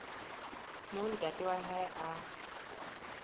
moo ntate wa hae a